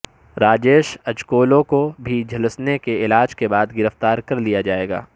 راجیش اجکولو کو بھی جھلسنے کے علاج کے بعد گرفتار کر لیا جائے گا